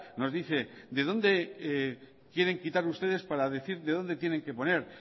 nos dice de dónde quieren quitar ustedes para decir de dónde tienen que poner